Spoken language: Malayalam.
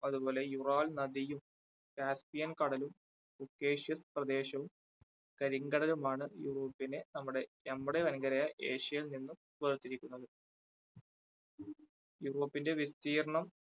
അതുപോലെ ural നദിയും caspian കടലും caucasus ൻ പ്രദേശവും കരിങ്കടലുമാണ് യൂറോപ്പിനെ നമ്മുടെ നമ്മുടെ വൻകരയായ ഏഷ്യയിൽ നിന്നും വേർതിരിക്കുന്നത്. യൂറോപ്പിന്റെ വിസ്തീർണ്ണം